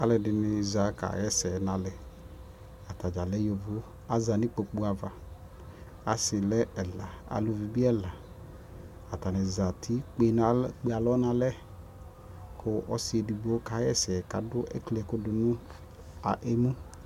Alʋɛdiɩnɩ zã kaɣ'ɛsɛ n'alɛ, atadzaa lɛ yovo azã n'ikpoku ava Asɩ lɛ ɛla, aluvi bɩ ɛla Atanɩ zati kpenal, kpe alɔ n'alɛ, kʋ ɔsɩ edigbo kaɣa ɛsɛ, k'adʋ , ekli ɛkʋ dʋ nʋ emu